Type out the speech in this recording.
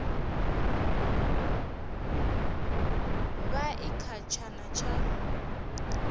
vha i kha tshana tsha